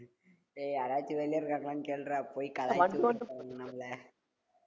ஏய் யாராச்சு வெளிய இருக்காங்களான்னு கேளுடா போய் கலாய்ச்சுட்டு இருப்பாங்க நம்பள